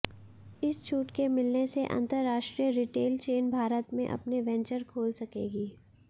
इस छूट के मिलने से अंतरराष्ट्रीय रिटेल चेन भारत में अपने वेंचर खोल सकेंगी